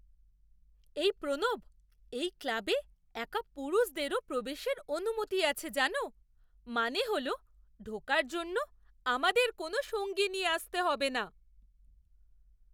এই প্রণব, এই ক্লাবে একা পুরুষদেরও প্রবেশের অনুমতি আছে জানো? মানে হল ঢোকার জন্য আমাদের কোনও সঙ্গী নিয়ে আসতে হবে না।